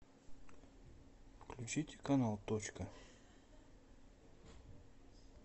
включить канал точка